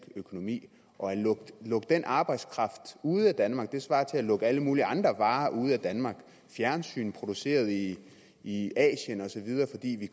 økonomi og at lukke den arbejdskraft ude af danmark svarer til at lukke alle mulige andre varer ude af danmark fjernsyn produceret i i asien og så videre fordi vi